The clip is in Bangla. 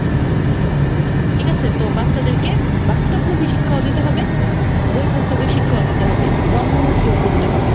ঠিক আছে, তো বাচ্চাদেরকে বাস্তবমুখী শিক্ষাও দিতে হবে, বই, পুস্তকের শিক্ষাও দিতে হবে, কর্মমুখীও করতে হবে।